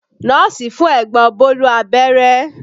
Nọ́ọ̀sì fún ẹ̀gbọ́n Bólú abẹ́rẹ́